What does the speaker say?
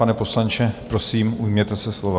Pane poslanče, prosím, ujměte se slova.